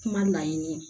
Kuma laɲini